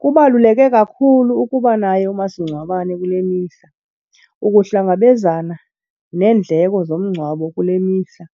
Kubaluleke kakhulu ukuba naye umasingcwabane kule mihla ukuhlangabezana neendleko zomngcwabo kule mihla.